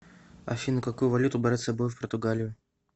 афина какую валюту брать с собой в португалию